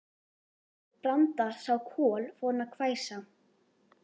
Þegar Branda sá Kol fór hún að hvæsa.